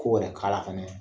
Ko wɛrɛ k'a la fɛnɛ.